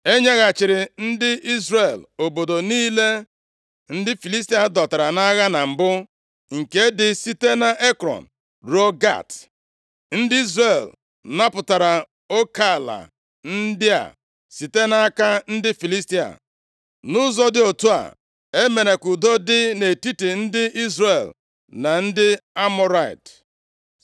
E nyeghachiri ndị Izrel obodo niile ndị Filistia dọtara nʼagha na mbụ, nke dị site nʼEkrọn ruo Gat. Ndị Izrel napụtara oke ala ndị a site nʼaka ndị Filistia. Nʼụzọ dị otu a, e mere ka udo dị nʼetiti ndị Izrel na ndị Amọrait. + 7:14 Ndị Amọrị bụ aha ọzọ eji mara ndị niile bụ ndị Kenan. \+xt Jen 14:5-7\+xt*